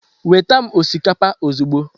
Weta m osikapa ozugbo.